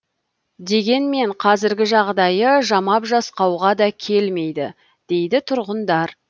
дегенмен қазіргі жағдайы жамап жасқауға да келмейді дейді тұрғындар